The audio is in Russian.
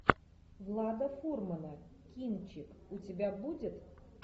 влада фурмана кинчик у тебя будет